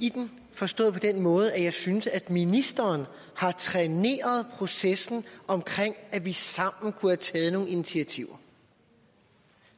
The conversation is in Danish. i den forstået på den måde at jeg synes at ministeren har træneret processen om at vi sammen kunne have taget nogle initiativer